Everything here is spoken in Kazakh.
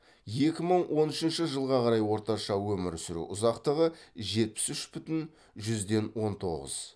екі мың он үшінші жылға қарай орташа өмір сүру ұзақтығы жетпіс үш бүтін жүзден он тоғыз